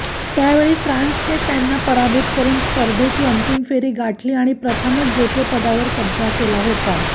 त्यावेळी फ्रान्सने त्यांना पराभूत करून स्पर्धेची अंतिम फेरी गाठली आणि प्रथमच जेतेपदावर कब्जा केला होता